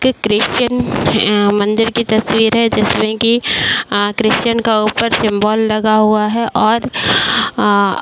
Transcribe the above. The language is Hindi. क्रिश्चियन ए मंदिर की तस्वीर है जिसमे कि आ क्रिश्चियन का ऊपर सिंबल लगा हुआ है और आ --